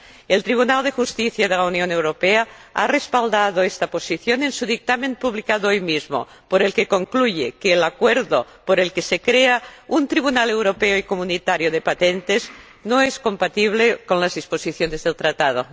El Tribunal de Justicia de la Unión Europea ha respaldado esta posición en su dictamen publicado hoy mismo, por el que concluye que el acuerdo por el que se crea un tribunal europeo y comunitario de patentes no es compatible con las disposiciones del Tratado.